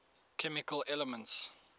chemical elements